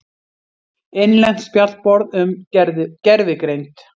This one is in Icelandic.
Innlent spjallborð um gervigreind.